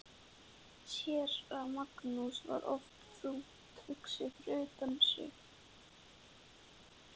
Séra Magnús var oft þungt hugsi og utan við sig.